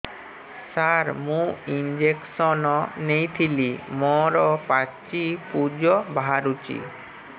ସାର ମୁଁ ଇଂଜେକସନ ନେଇଥିଲି ମୋରୋ ପାଚି ପୂଜ ବାହାରୁଚି